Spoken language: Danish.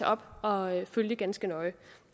op og følge ganske nøje